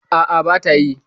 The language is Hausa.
A'a, bata yi.